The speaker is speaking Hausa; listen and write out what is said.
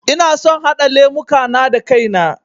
Ina son haɗa lemuka na da kai na